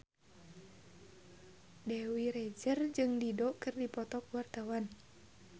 Dewi Rezer jeung Dido keur dipoto ku wartawan